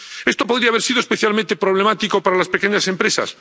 Esto podría haber sido especialmente problemático para las pequeñas empresas.